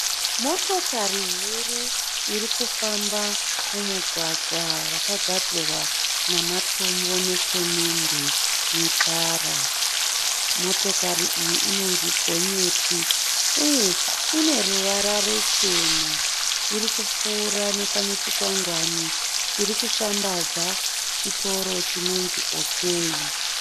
Motokari huru iri kufamba mumugwagwa wakagadzirwa nematombo nesemende netara. Motokari iyi inonzi gonyeti, uye iine ruvara ruchena. Iri kupfuura nepane chikwangwani chiri kushambadza chitoro chinonzi OK.